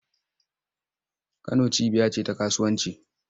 Kano cibiya ce ta kasuwanci.